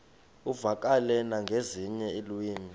uvakale nangezinye iilwimi